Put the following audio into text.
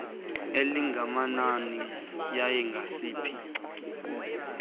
elingakanani yaye ngasiphi